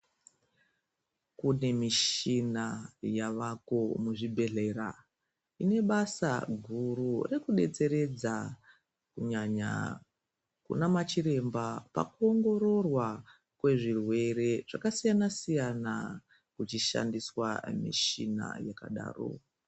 Kune michina yavako muzvibhedhleya ine basa guru rekudetseredza kunyanya kunamachiremba pakuongororwa kwezvirwere zvakasiyana siyana kuchishandiswa michina yakadaro.